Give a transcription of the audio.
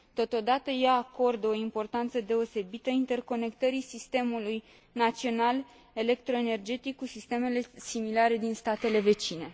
Totodată, ea acordă o importanță deosebită interconectării sistemului național electroenergetic cu sistemele similare din statele vecine.